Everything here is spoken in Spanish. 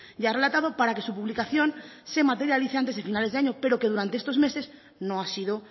ya ha relatado para que su publicación se materialice antes de finales de año pero que durante estos meses no ha sido